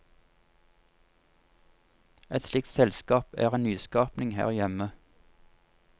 Et slikt selskap er en nyskapning her hjemme.